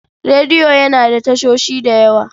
Rediyo yana da tashoshi da yawa.